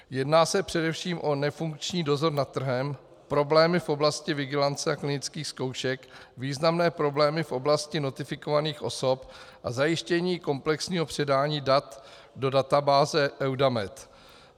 Jedná se především o nefunkční dozor nad trhem, problémy v oblasti vigilance a klinických zkoušek, významné problémy v oblasti notifikovaných osob a zajištění komplexního předání dat do databáze EUDAMED.